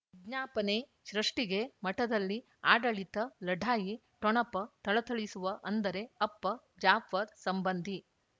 ಜ್ಞಾಪನೆ ಸೃಷ್ಟಿಗೆ ಮಠದಲ್ಲಿ ಆಡಳಿತ ಲಢಾಯಿ ಠೊಣಪ ಥಳಥಳಿಸುವ ಅಂದರೆ ಅಪ್ಪ ಜಾಫರ್ ಸಂಬಂಧಿ